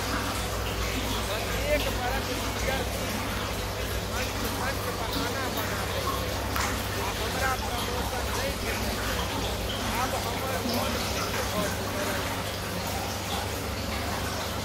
प्रत्येक बरख leadership team किछु अंट शंट बहाना बना दैत अछि आ हमरा प्रमोशन नहि भेटैत अछि ,आब हमर मन तिक्त भऽ चुकल अछि कम्पनीसँ।